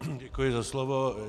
Děkuji za slovo.